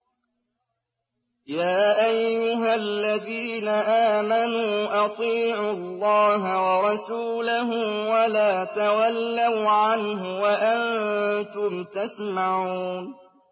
يَا أَيُّهَا الَّذِينَ آمَنُوا أَطِيعُوا اللَّهَ وَرَسُولَهُ وَلَا تَوَلَّوْا عَنْهُ وَأَنتُمْ تَسْمَعُونَ